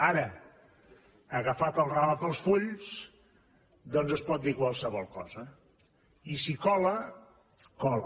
ara agafat el rave per les fulles doncs es pot dir qualsevol cosa i si cola cola